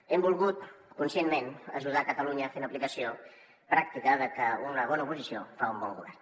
hem volgut conscientment ajudar catalunya fent aplicació pràctica de que una bona oposició fa un bon govern